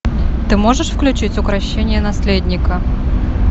ты можешь включить укрощение наследника